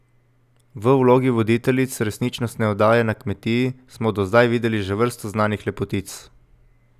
V vlogi voditeljic resničnostne oddaje na kmetiji smo do zdaj videli že vrsto znanih lepotic.